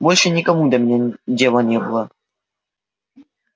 больше никому до меня дела не было